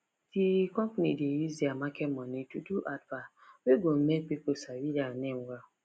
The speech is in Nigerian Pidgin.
d company dey use their market money to do advert wey go make people sabi dia name well